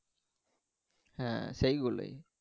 হ্যাঁ সেগুলোই